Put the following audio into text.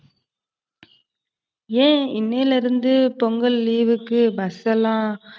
ஏன் இன்னையில இருந்து பொங்கல் leave க்கு bus எல்லாம்,